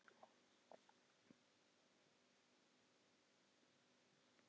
Hver myndi kaupa þau hrogn?